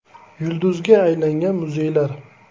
“Yulduz”ga aylangan muzeylar.